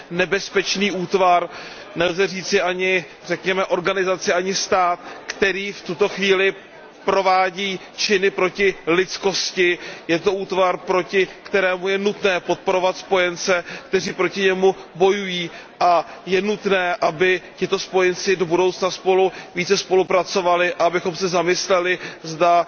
nebezpečný útvar, nelze říci ani řekněme organizace, ani stát, který v tuto chvíli provádí činy proti lidskosti. Je to útvar, proti kterému je nutné podporovat spojence, kteří proti němu bojují, a je nutné, aby tito spojenci do budoucna spolu více spolupracovali a abychom se zamysleli, zda